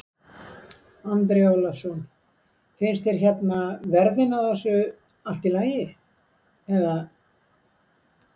Andri Ólafsson: Finnst þér hérna verðin á þessu allt í lagi eða?